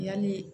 Yali